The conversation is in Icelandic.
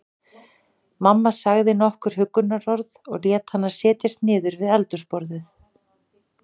Mamma sagði nokkur huggunarorð og lét hana setjast niður við eldhúsborðið.